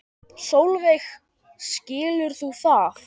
Sólveig: Skilur þú það?